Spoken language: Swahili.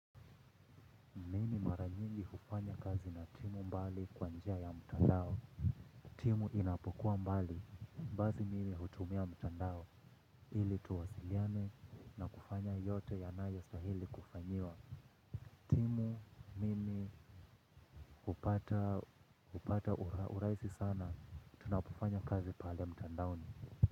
Mimi mara nyingi kufanya kazi na timu mbali kwa njia ya mtandao. Timu inapokuwa mbali, basi mimi hutumia mtandao, ili tuwasiliane na kufanya yote yanayostahili kufanyiwa. Timu hupata urahisi sana, tunapofanya kazi pale mtandaoni.